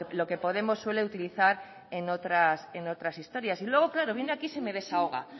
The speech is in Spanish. lo que podemos suele utilizar en otras historias y luego claro viene aquí y se me desahoga